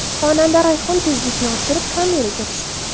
Xonanda Rayhon tezlikni oshirib, kameraga tushdi.